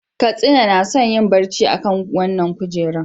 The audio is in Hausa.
Katsina na son yin barci akan wannan kujera.